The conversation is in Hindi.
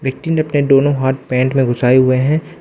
मिनटिंडे पे दोनों हाथ पेंट में घुसाए हुए हैं।